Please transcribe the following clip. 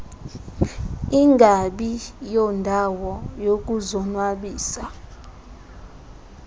ingabi yondawo yokuzonwabisa